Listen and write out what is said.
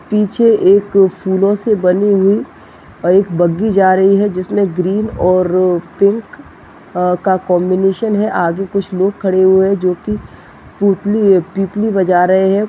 पीछे एक फूलों से बनी हुई एक बग्गी जा रही है जिसमे ग्रीन और पिंक का कॉम्बिनेशन है आगे कुछ लोग खड़े हुए है जो कि पूतली पिपली बजा रहे है।